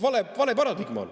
Vale paradigma!